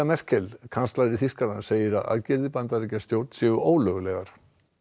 Merkel kanslari Þýskalands segir að aðgerðir Bandaríkjastjórnar séu ólöglegar